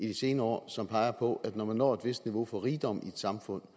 de senere år som peger på at når man når et vist niveau for rigdom i et samfund